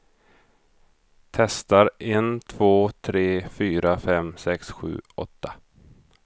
Testar en två tre fyra fem sex sju åtta.